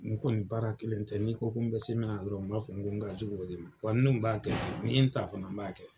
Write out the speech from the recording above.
N kɔni baara kelen tɛ, n'i ko n be se min na dɔrɔn , n b'a fɔ n ka jugu o de ma. Wa n dun b'a kɛ ten ni ye n ta fana n b'a kɛ.